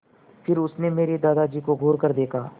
फिर उसने मेरे दादाजी को घूरकर देखा